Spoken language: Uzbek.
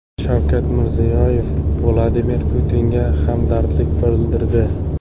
Shavkat Mirziyoyev Vladimir Putinga hamdardlik bildirdi.